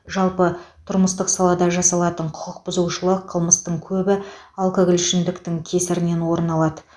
жалпы тұрмыстық салада жасалатын құқық бұзушылық қылмыстың көбі алкоголь ішімдіктің кесірінен орын алады